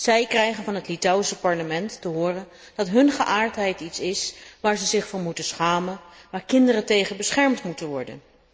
Zij krijgen van het Litouwse parlement te horen dat hun geaardheid iets is waar ze zich voor moeten schamen, waartegen kinderen beschermd moeten worden.